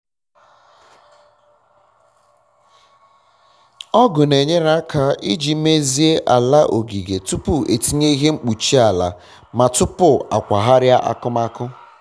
ọgụ na enyere aka iji meziee ala ogige tụpụ etinye ihe nkpuchi ala ma um tụpụ akwagharịa akụmakụ